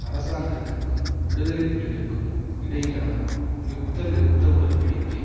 அரசாங்கத்துக்கும் விடுதலை புலிகளுக்கும் இடையிலான யுத்த நிறுத்த உடன் படிக்கை